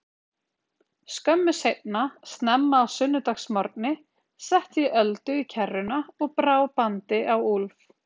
Skömmu seinna, snemma á sunnudagsmorgni, setti ég Öldu í kerruna og brá bandi á Úlf.